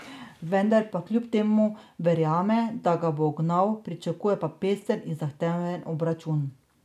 Vendar pa kljub temu verjame, da ga bo ugnal, pričakuje pa pester in zahteven obračun.